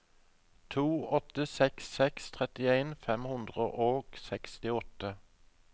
to åtte seks seks trettien fem hundre og sekstiåtte